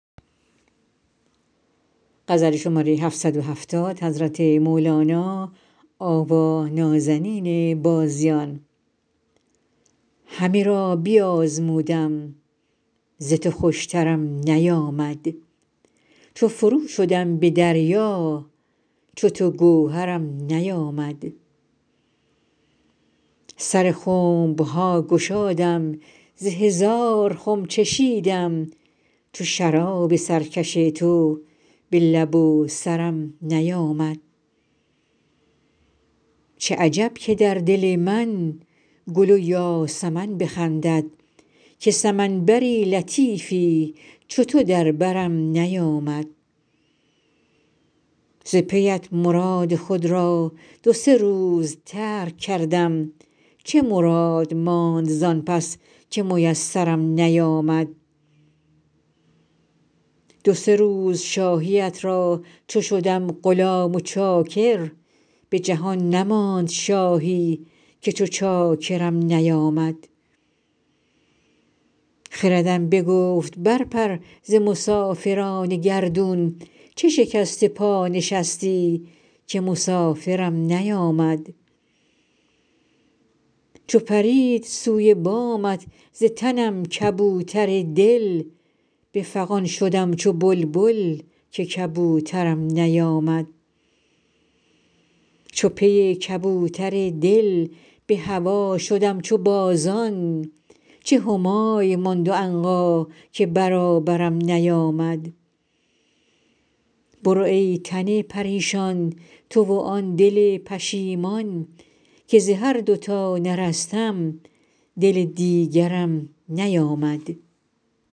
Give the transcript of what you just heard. همه را بیازمودم ز تو خوشترم نیامد چو فرو شدم به دریا چو تو گوهرم نیامد سر خنب ها گشادم ز هزار خم چشیدم چو شراب سرکش تو به لب و سرم نیامد چه عجب که در دل من گل و یاسمن بخندد که سمن بر لطیفی چو تو در برم نیامد ز پیت مراد خود را دو سه روز ترک کردم چه مراد ماند زان پس که میسرم نیامد دو سه روز شاهیت را چو شدم غلام و چاکر به جهان نماند شاهی که چو چاکرم نیامد خردم بگفت برپر ز مسافران گردون چه شکسته پا نشستی که مسافرم نیامد چو پرید سوی بامت ز تنم کبوتر دل به فغان شدم چو بلبل که کبوترم نیامد چو پی کبوتر دل به هوا شدم چو بازان چه همای ماند و عنقا که برابرم نیامد برو ای تن پریشان تو و آن دل پشیمان که ز هر دو تا نرستم دل دیگرم نیامد